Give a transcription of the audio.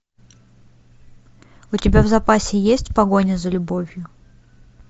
у тебя в запасе есть погоня за любовью